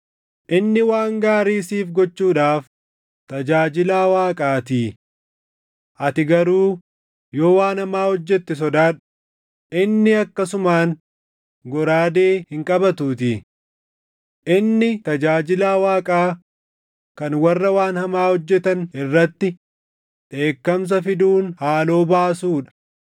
Inni waan gaarii siif gochuudhaaf tajaajilaa Waaqaatii. Ati garuu yoo waan hamaa hojjette sodaadhu; inni akkasumaan goraadee hin qabatuutii. Inni tajaajilaa Waaqaa kan warra waan hamaa hojjetan irratti dheekkamsa fiduun haaloo baasuu dha.